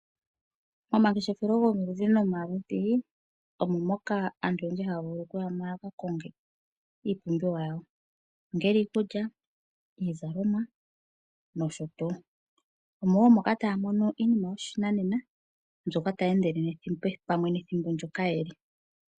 Omangefeshelo gomaludhi nomaludhi omo nee aantu hayayi yakakongo iipumbiwa yawo ongele iikulya iizalomwa nosho tuu. Mo omo ngaa taya mono iinima yoshinanena mboka tayi endele pamwe nethimbo ndyoka keli.